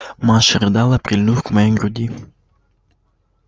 маша рыдала прильнув к моей груди